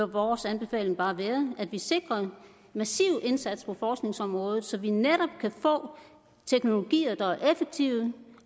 vores anbefaling bare være at vi sikrer massiv indsats på forskningsområdet så vi netop kan få teknologier der er effektive